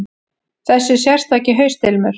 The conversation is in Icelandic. Þessi sérstaki haustilmur.